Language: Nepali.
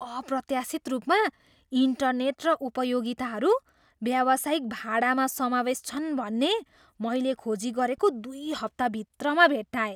अप्रत्याशित रूपमा, इन्टरनेट र उपयोगिताहरू व्यावसायिक भाडामा समावेस छन् भन्ने मैले खोजी गरेको दुई हप्ता भित्रमा भेट्टाएँ।